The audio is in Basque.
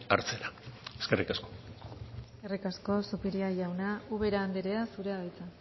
hartzera eskerrik asko eskerrik asko zupiria jauna ubera andrea zurea da hitza